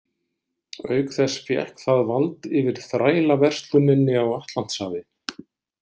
Auk þess fékk það vald yfir þrælaversluninni á Atlantshafi.